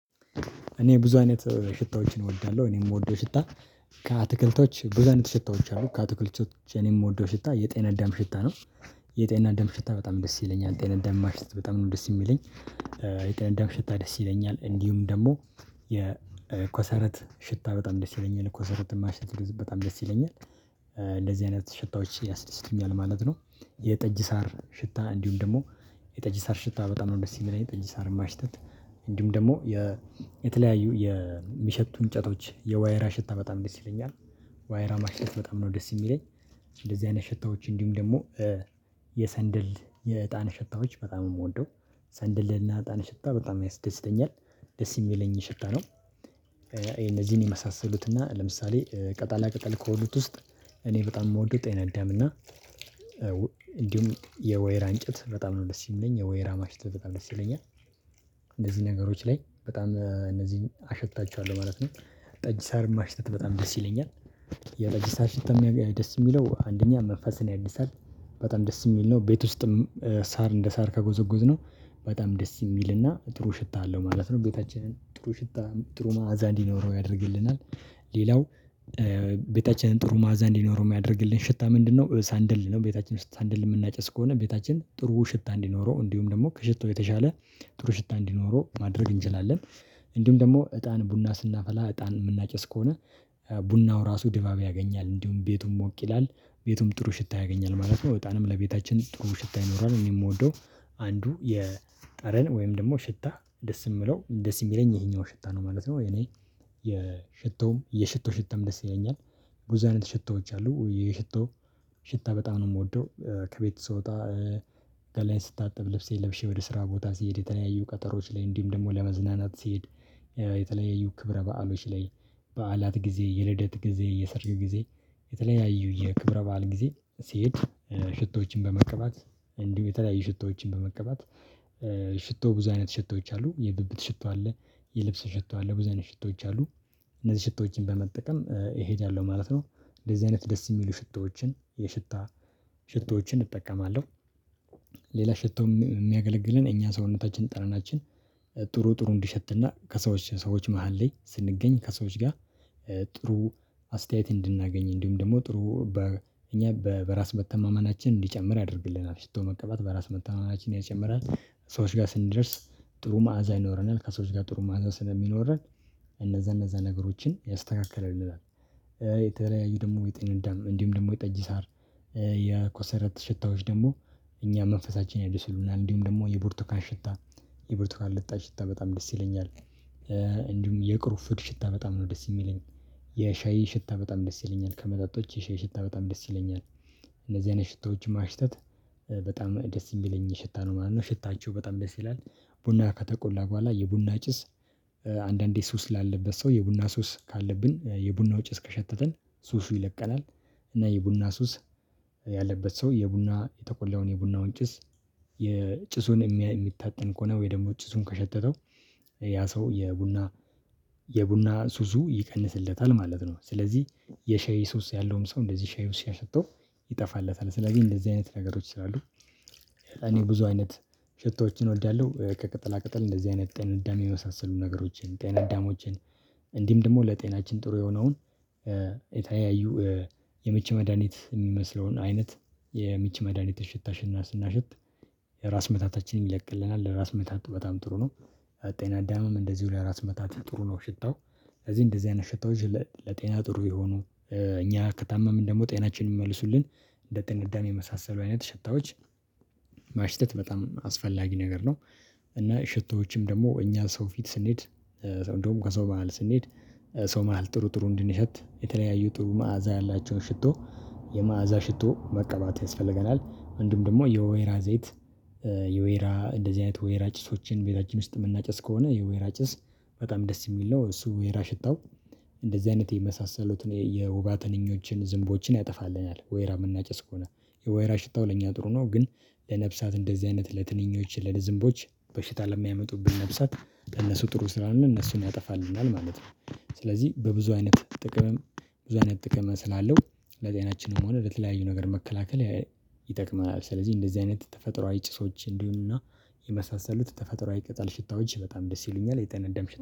እኔ ብዙ አይነት ሽታዎችን እወዳለሁ እኔ የምወደው ሽታ ከአትክልቶች ብዙ አይነት ሽታዎች አሉ ከአትክልቶች የምወደው ሽታ የጤና አዳም ሽታ ነው። የጤና አዳም ሽታ በጣም ደስ ይለኛል ጤና አዳም ማሽተት በጣም ነው ደስ የሚለኝ። የጠና አዳም ሽታ ደስ ይለኛል እንዲሁም ደግሞ። የኮሰረት ሽታ በጣም ደስ ይለኛል ኮሰረት ማሽት በጣም ደስ ይለኛል። እንደዚህ አይነት ሽታዎች ያስደስቱኛል ማለት ነው። የጠጅ ሳር ሽታ እንዲሁም ደግሞ። የጠጅ ሳር ሽታ በጣም ነው ደስ የሚለኝ የጠጅ ሳር ማሽተት። እንዲሁም ደግሞ። የተለያዩ የሚሸቱ እንጨቶች የዋየራ ሽታ በጣም ደስ ይለኛል። ዋይራ ማሽተት በጣም ነው ደስ የሚለኝ። እንደዚህ አይነት ሽታዎች እንዲሁም ደግሞ። የሰንደል የእጣን ሽታዎች በጣም የምወደው ሰንድልና እጣን ሽታ በጣም ያስደስደኛል ደስ የሚለኝ ሽታ ነው። እነዚህን የመሳሰሉት እና ለምሳሌ ቅጣላ ቅጠል ከሆኑት ውስጥ። እኔ በጣም የምወደው ጤና አዳም እና። እንዲሁም የወይራ እንጨት በጣም ነው ደስ የሚለኝ የወይራ ማሽት ይለኛል። እንደዚህ ነገሮች ላይ በጣም እነዚህን አሽታቸዋለሁ ማለት ነው። ጠጅ ሳር ማሽተት በጣም ደስ ይለኛል። የጠጅ ሳር ሽታ ደስ የሚለው አንደኛ መንፈስን ያድሳል። በጣም ደስ የሚል ነው ቤት ውስጥም ሳር እንደ ሳር ከጎዘጎዝነው በጣም ደስ የሚልና ጥሩ ሽታ አለው ማለት ነው። ቤታችንን ጥሩ ሽታ ጥሩ መዓዛ እንዲኖረው ያደርግልናል። ሌላው ቤታችንን ጥሩ መዓዛ እንዲኖረው የሚያደርግልን ሽታ ምንድነው? ሳንደል ነው ቤታችን ሳንደል የምናጨስ ከሆነ ቤታችን ጥሩ ሽታ እንዲኖረው እንዲሁም ደግሞ ከሽቶ የተሻለ ጥሩ ሽታ እንዲኖረው ማድረግ እንችላለን። እንዲሁም ደግሞ እጣን ቡና ስናፈላ እጣን የምናጨስ ከሆነ። ቡናው ራሱ ድባብ ያገኛል እንዲሁም ቤቱም ሞቅ ይላል። ቤቱም ጥሩ ሽታ ያገኛል ማለት ነው። እጣንም ለቤታችን ጥሩ ሽታ ይኖራል እኔ የምወደው አንዱ የጠረን ወይም ደግሞ ሽታ ደስ የምለው ደስ የሚለኝ ይሄኛው ሽታ ነው ማለት ነው። እኔ የሽቶም የሽቶ ሽታም ደስ ይለኛል። ቡዙ አይነት ሽቶዎች አሉ የሽቶ ሽታ በጣም ነው የምወደው። ከቤት ስወጣ ገላዬን ስታጥብ ልብሴን ለብሼ ወደ ስራ ቦታ ሲሄድ የተለያየ ቀጠሮዎች ላይ እንዲሁም ደግሞ ለመዝናናት ሲሄድ። የተለያዩ ክብረ በዓሎች ላይ። በዓላት ጊዜ የልደት ጊዜ የሰርግ ጊዜ። የተለያዩ የክብረ በዓል ጊዜ ሲሄድ። ሽቶዎችን በመቀባት እንዲሁ የተለያዩ ሽቶዎችን በመቀባት። ሽቶ ብዙ አይነት ሽቶዎች አሉ የብብት ሽቶ አለ። የልብስ ሽቶ አለ ብዙ አይነት ሽቶዎች አሉ። እነዚህ ሽቶዎችን በመጠቀም እሄዳለሁ ማለት ነው። እንደዚህ አይነት ደስ የሚሉ ሽቶዎችን የሽታ ሽቶዎችን እጠቀማለሁ። ሌላ ሽቶም የሚያገለግለን እኛ ሰውነታችን ጠረናችን ጥሩ ጥሩ እንዲሸትና ከሰዎች ሰዎች መሃል ላይ ስንገኝ ከሰዎች ጋር። ጥሩ አስተያየት እንድናገኝ እንዲሁም ደግሞ ጥሩ እኛ በራስ መተማመናችን እንዲጨምር ያደርግልናል። ሽቶ መቀባት በራስ መተማመናችን ይጨምራል። ሰዎች ጋር ስንደርስ ጥሩ ማአዛ ይኖረናል ከሰዎች ጋር ጥሩ ማዓዛ ስለሚኖረን። እነዛ እነዛ ነገሮችን ያስተካክልልናል። የተለያዩ ደግሞ የጤና አዳም እንዲሁም ደግሞ የጠጅ ሳር የኮሰረት ሽታዎች ደግሞ እኛ መንፈሳችን ያድስልናል። እንዲሁም ደግሞ የቡርቱካን ሽታ የቡርቱካን ልጣጭ ሽታ በጣም ደስ ይለኛል። እንዲሁም የቅሩንፍድ ሽታ በጣም ነው ደስ የሚለኝ። የሻይ ሽታ በጣም ደስ ይለኛል ከመጠጦች የሻይ ሸታ በጣም ደስ ይለኛል። እነዚህ አይነት ሽቶዎች ማሽተት በጣም ደስ የሚለኝ ሽታ ነው ማለት ነው። ሽታቸው በጣም ደስ ይላል። ቡና ከተቆላ በኋላ የቡና ጭስ አንዳንዴ ሱስ ላለበት ሰው የቡና ሱስ ካለብን የቡና ጭስ እስከሸተተን ሱሱ ይለቀናል። እና የቡና ሱስ። ያለበት ሰው የቡና የተቆላውን የቡናውን ጭስ የጭሱን የሚታጠን ከሆነ ወይ ደግሞ ጭሱን ከሸተተው። ያ ሰው የቡና የቡና ሱሱ ይቀንስለታል ማለት ነው። ስለዚህ የሻይ ሱስ ያለውም ሰው እንደዚህ ሻይ ሱስ ሲያሸተው ይጠፋለታል ስለዚህ እንደዚህ አይነት ነገሮች ይላሉ። እኔ ብዙ አይነት ሽቶዎችን እወዳለሁ ከቅጠላ ቅጠል እንደዚህ አይነት ጤናዳም የሚያመሳስሉ ነገሮችን ጤና አዳሞችን። እንዲም ደግሞ ለጤናችን ጥሩ የሆነውን። የምች መድሃኒት የሚመስለውን አይነት የምች መድሃኒት ሽታሽና ስናሽት። የራስ ምታታችንም ይለቅልናል ለራስ መታት በጣም ጥሩ ነው። ጤናዳምም እንደዚሁ ለራስ መታት ጥሩ ነው ሽታው። እዚህ እንደዚህ አይነት ሽታዎች ለጤና ጥሩ የሆኑ። እኛ ከታመምን ደግሞ ጤናችን የሚመልሱልን። እንደ ጤና አዳም የመሳሰሉ አይነት ሽታዎች ማሽተት በጣም አስፈላጊ ነገር ነው። እና ሽታዎችም ደግሞ እኛ ሰው ፊት ስንሄድ። እንደውም ከሰው መሃል ስንሄድ። ሰው መሃል ጥሩ ጥሩ እንዲንሸት የተለያዩ ጥሩ መዓዛ ያላቸውን ሽቶ የመአዛ ሽቶ መቀባት ያስፈልገናል። እንዲሁም ደግሞ የወይራ ዘይት። የወይራ እንደዚህ አይነት ወይራ ጭሶችን ቤታችን ውስጥ የምናጨስ ከሆነ የወይራ ጭስ በጣም ደስ የሚል ነው። እሱ ወይራ ሽታው። እንደዚህ አይነት የመሳሰሉትን የወባ ትንኞችን ዝንቦችን ያጠፋልናል ወይራ የምናጨስ ከሆነ። የወይራ ሽታው ለእኛ ጥሩ ነው። ግን። ለነፍሳት እንደዚህ አይነት ለትንኞች ለዝንቦች በሽታ ለሚያመጡብን ነፍሳት በእነሱ ጥሩ ስላልነው እነሱን ያጠፋልናል ማለት ነው። ስለዚህ በብዙ አይነት ጥቅምም ብዙ አይነት ጥቅም ስላለው ለዚህ ለጤናችንም ሆነ ለተለያዩ ነገር መከላከል ይጠቅመናል። ስለዚህ እንደዚህ አይነት ተፈጥሮአዊ ጭሶች እንዲሆኑና የመሳሰሉት ተፈጥሮአዊ ቅጠል ሽታዎች በጣም ደስ ይሉኛል የጤና ደም።